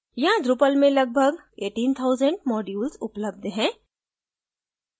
यहाँ drupal में लगभग 18000 modules उपलब्ध हैं